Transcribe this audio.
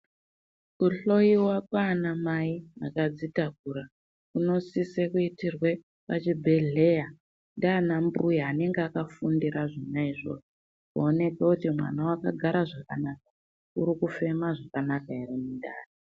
Kuhloyiwa kwaanamai akadzitakura kunosise kuitirwe pachibhedhleya ndianambuya anenge akafundire zvona izvozvo. Kuoneke kuti mwana wakagara zvakanaka here, urikufema zvakanaka here mundani.